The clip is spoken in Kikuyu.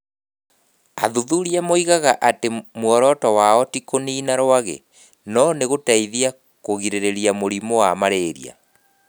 Athuthuria moigaga atĩ muoroto wao ti kũniina rwagĩ no nĩ gũteithia kũgirĩrĩria mũrimũ wa mararia.